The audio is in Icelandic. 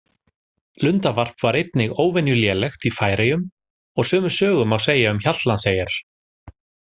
Lundavarp var einnig óvenju lélegt í Færeyjum og sömu sögu má segja um Hjaltlandseyjar.